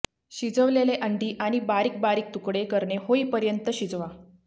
शिजवलेले अंडी आणि बारीक बारीक तुकडे करणे होईपर्यंत शिजवा